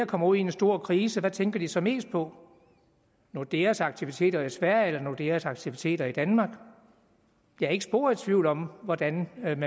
kommer ud i en stor krise hvad tænker de så mest på nordeas aktiviteter i sverige eller nordeas aktiviteter i danmark jeg er ikke spor i tvivl om hvordan man